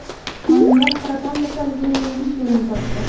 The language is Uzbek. Olimlar saraton kasalligini yengish yo‘lini topdi.